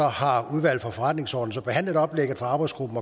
har udvalget for forretningsordenen behandlet oplægget fra arbejdsgruppen